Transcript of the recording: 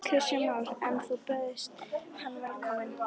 Kristján Már: En þú bauðst hann velkomin?